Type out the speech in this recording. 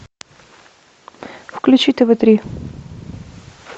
включи тв три